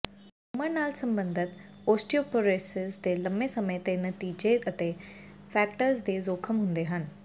ਉਮਰ ਨਾਲ ਸਬੰਧਤ ਓਸਟੀਓਪਰੋਰਿਸਿਸ ਦੇ ਲੰਮੇ ਸਮੇਂ ਦੇ ਨਤੀਜੇ ਅਤੇ ਫ੍ਰੈਕਟਸ ਦੇ ਜੋਖਮ ਹੁੰਦੇ ਹਨ